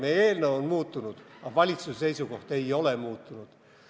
Meie eelnõu on muutunud, aga valitsuse seisukoht muutunud ei ole.